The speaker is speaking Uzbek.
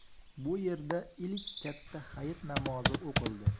Bu yerda ilk katta hayit namozi o‘qildi.